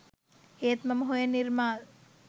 ඒත් මම හොයන නිර්මාල්